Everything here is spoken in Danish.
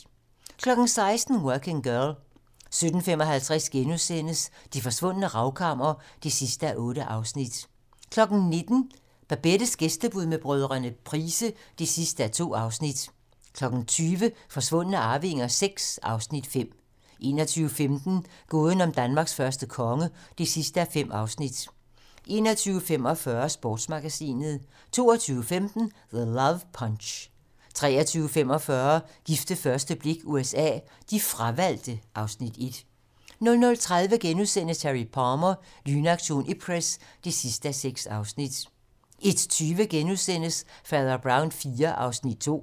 16:00: Working Girl 17:55: Det Forsvundne Ravkammer (8:8)* 19:00: Babettes gæstebud med brødrene Price (2:2) 20:00: Forsvundne arvinger VI (Afs. 5) 21:15: Gåden om Danmarks første konge (5:5) 21:45: Sportsmagasinet 22:15: The Love Punch 23:45: Gift ved første blik USA: De fravalgte (Afs. 1) 00:30: Harry Palmer - Lynaktion Ipcress (6:6)* 01:20: Fader Brown IV (2:15)*